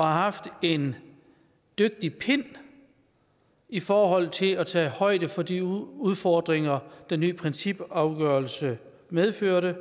har haft en dygtig hånd i forhold til at tage højde for de udfordringer den nye principafgørelse medførte